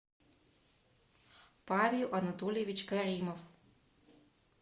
павел анатольевич каримов